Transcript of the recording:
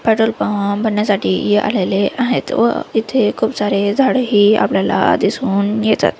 Petrol अहं भरन्यासाठी आलेले आहेत व इथे खूप सारे झाडे ही आपल्याला दिसून येतात.